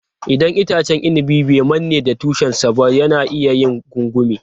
Idan itacen inabi bai manne da tushen sa ba, yana iya yin gungume.